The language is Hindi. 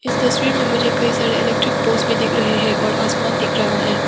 इस तस्वीर में मुझे कई सारे इलेक्ट्रिक पोस भी दिख रहे है और आसमान दिख रखा है।